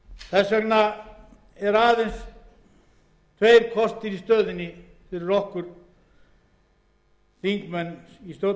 þess vegna eru aðeins tveir kostir í stöðunni fyrir okkur þingmenn í stjórnarandstöðu að